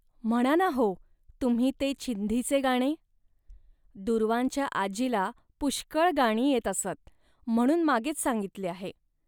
म्हणा ना हो तुम्ही ते चिंधीचे गाणे. दूर्वांच्या आजीला पुष्कळ गाणी येत असत, म्हणून मागेच सांगितले आहे